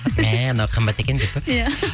мә мынау қымбат екен деп пе иә